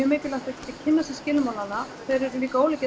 mikilvægt að kynna sér skilmálana þeir eru líka ólíkir